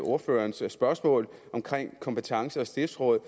ordførerens spørgsmål om kompetence og stiftsråd